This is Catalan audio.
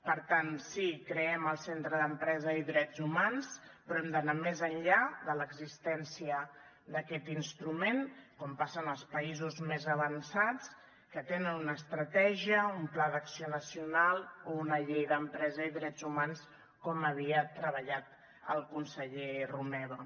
per tant sí creem el centre d’empresa i drets humans però hem d’anar més enllà de l’existència d’aquest instrument com passa en els països més avançats que tenen una estratègia un pla d’acció nacional o una llei d’empresa i drets humans com havia treballat el conseller romeva